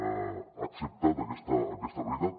ha acceptat aquesta realitat